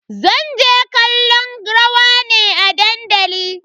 Zan je kallon rawa ne a dandali.